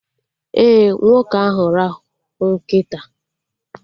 Ee, nwoke ahụ rahụ nkịta